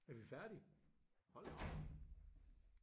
Er vi færdige? Hold da op